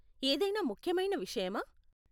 ఏదైనా ముఖ్యమైన విషయమా?